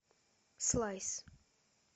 слайс